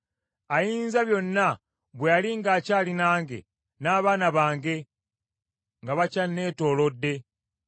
Ayinzabyonna bwe yali ng’akyali nange n’abaana bange nga bakyanneetoolodde,